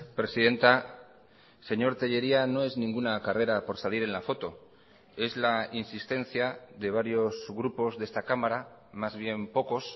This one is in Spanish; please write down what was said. presidenta señor tellería no es ninguna carrera por salir en la foto es la insistencia de varios grupos de esta cámara más bien pocos